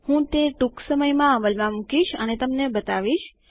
હું તે ટૂંક સમયમાં અમલમાં મુકીશ અને તમને બતાવીશ